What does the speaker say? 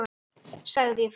Rifjum aðeins upp söguna.